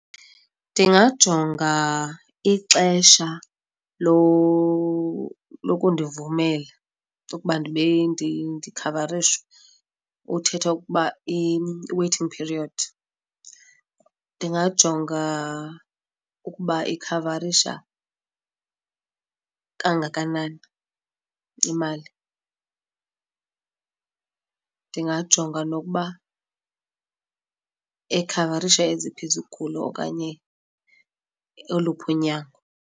Ndingajonga ixesha lokundivumela ukuba ndibe ndikhavarishwe uthetha ukuba i-waiting period. Ndingajonga ukuba iikhavarisha kangakanani imali, ndingajonga nokuba ikhavarisha eziphi izigulo okanye oluphi unyango.